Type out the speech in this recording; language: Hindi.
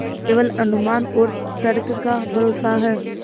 केवल अनुमान और तर्क का भरोसा है